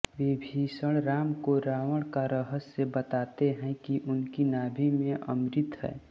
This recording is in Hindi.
विभीषण राम को रावण का रहस्य बताते हैं कि उनकी नाभि में अमृत है